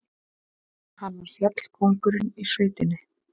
Hann var fjallkóngurinn í sveitinni.